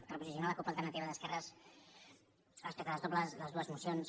per posicionar la cup alternativa d’esquerres respecte a les dues mocions